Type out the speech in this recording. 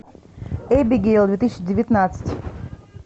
эбигейл две тысячи девятнадцать